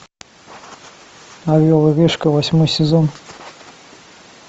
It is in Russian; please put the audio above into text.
орел и решка восьмой сезон